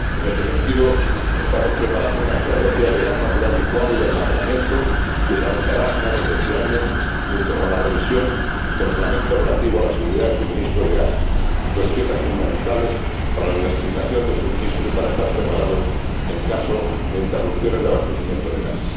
En este sentido, estamos preparando una estrategia de gas natural licuado y de almacenamiento que se adoptará a finales de este año, junto con la revisión del Reglamento relativo a la seguridad del suministro de gas, dos piezas fundamentales para la diversificación del suministro y para estar preparados en caso de interrupciones de abastecimiento de gas.